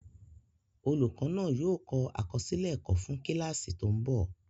Olùkọ́ náà yóò kọ àkọsílẹ̀ ẹ̀kọ́ fún kíláàsì tó ń bọ̀